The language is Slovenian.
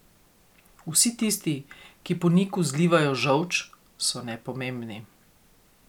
Vsi tisti, ki po Niku zlivajo žolč, so nepomembni.